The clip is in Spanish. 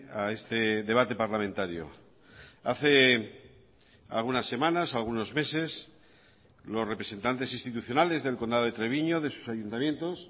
a este debate parlamentario hace algunas semanas algunos meses los representantes institucionales del condado de treviño de sus ayuntamientos